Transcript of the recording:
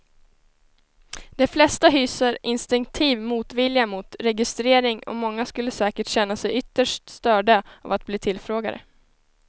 De flesta hyser instinktiv motvilja mot registrering och många skulle säkert känna sig ytterst störda av att bli tillfrågade.